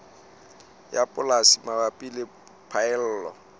ya polasi mabapi le phaello